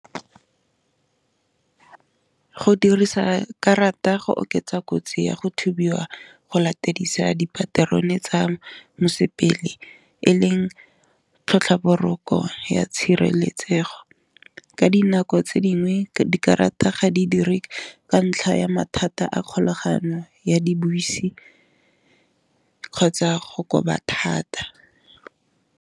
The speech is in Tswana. Go dirisa karata go oketsa kotsi ya go thubiwa go latedisa dipaterone tsa mosepele, e leng tlhotlha boroko tshireletsego ka dinako tse dingwe dikarata ga di dire ka ntlha ya mathata a kgolagano ya dibese, kgotsa go koba thata.